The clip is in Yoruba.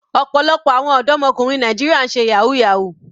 Ọ̀pọ̀lọpọ̀ àwọn ọ̀dọ́mọkùnrin Nàìjíríà ń ṣe yahoo yahoo.